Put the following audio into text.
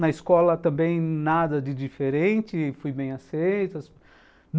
Na escola também nada de diferente, fui bem aceito.